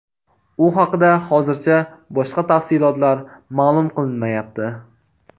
U haqida hozircha boshqa tafsilotlar ma’lum qilinmayapti.